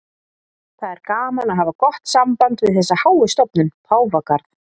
Það er gaman að hafa gott samband við þessa háu stofnun, Páfagarð.